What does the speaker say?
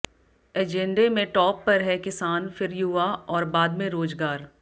एजेंडे में टॉप पर है किसान फिर युवा और बाद में रोजगार